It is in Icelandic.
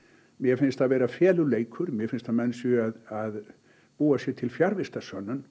mér finnst það vera feluleikur mér finnst að menn séu að búa sér til fjarvistarsönnun